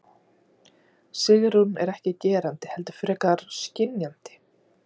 Sigrún er ekki gerandi heldur frekar skynjandi.